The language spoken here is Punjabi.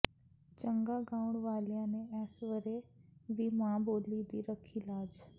ਚੰਗਾ ਗਾਉਣ ਵਾਲਿਆਂ ਨੇ ਇਸ ਵਰੇ ਵੀ ਮਾਂ ਬੋਲੀ ਦੀ ਰੱਖੀ ਲਾਜ